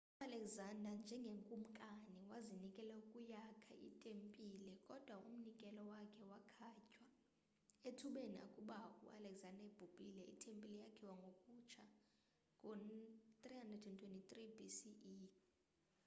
ualexander njengekumkani wazinikela ukuyakha itempile kodwa umnikelo wakhe wakhatywa ethubeni akuba u alexander ebhubhile itempile yakhiwa ngokutsha ngo-323 bce